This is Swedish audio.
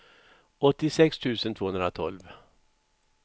åttiosex tusen tvåhundratolv